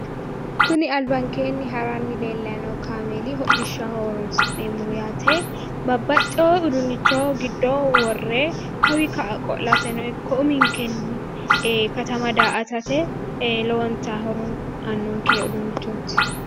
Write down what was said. Kuni abankeeni haranni leellanni noo kaameeli hidhishshaho horonsi'neemmoho yaate. babbaxxewore udunnicho giddo worre kawii ka'a qolate uminkeno katama daa'atate ee lowonta horo aannonke uduunnichooti.